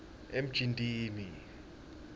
emjindini